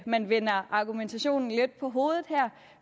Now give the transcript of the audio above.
man vender argumentationen lidt på hovedet her